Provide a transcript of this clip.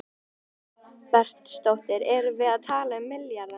Guðný Helga Herbertsdóttir: Erum við að tala um milljarða?